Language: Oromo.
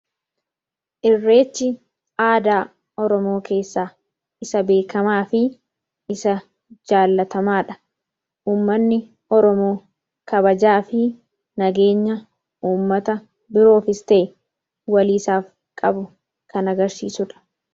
Irreechi aadaa Oromoo keessaa isa beekamaa fi isa jaallatamaa dha. Ummanni Oromoo kabajaa fi nageenya ummata biroofis ta'e walii isaaf qabu kan agarsiisu dha.